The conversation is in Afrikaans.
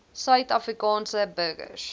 suid afrikaanse burgers